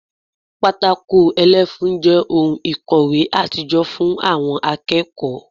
Pátákó ẹlẹ́fun jẹ́ ohun ìkòwé àtijọ́ fún àwọn akẹ́kọ̀ọ́